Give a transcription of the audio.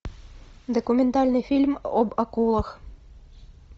документальный фильм об акулах